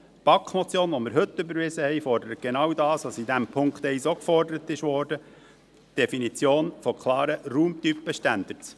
Die BaK-Motion , die wir heute überwiesen haben, fordert genau das, was im Punkt 1 ebenfalls gefordert wurde: die Definition von klaren Raumtypenstandards.